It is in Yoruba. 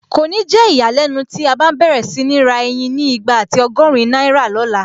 Kò ní jẹ́ ìyàlẹ́nu tí a bá n bẹ̀rẹ̀ sí ní ra ẹyin ni igba àti ọgọ́rin náírà lọ̀la